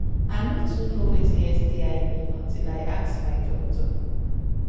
i no too know watin sti mean until i ask my my doctor